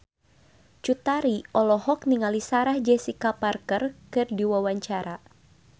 Cut Tari olohok ningali Sarah Jessica Parker keur diwawancara